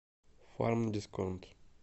фармдисконт